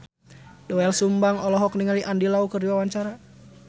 Doel Sumbang olohok ningali Andy Lau keur diwawancara